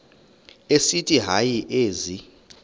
esithi hayi ezi